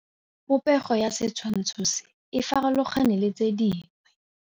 Popêgo ya setshwantshô se, e farologane le tse dingwe.